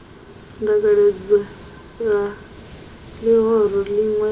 dzangalelo la lihoro linwe na